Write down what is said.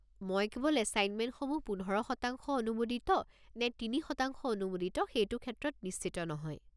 মই কেৱল এছাইনমেণ্টসমূহ পোন্ধৰ শতাংশ অনুমোদিত নে তিনি শতাংশ অনুমোদিত সেইটো ক্ষেত্ৰত নিশ্চিত নহয়।